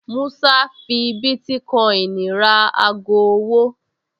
Músá fi bítíkọ́ìnì ra ago ọwọ́